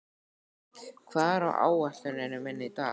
Eik, hvað er á áætluninni minni í dag?